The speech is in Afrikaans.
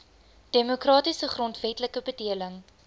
demokratiese grondwetlike bedeling